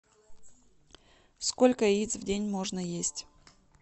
сколько яиц в день можно есть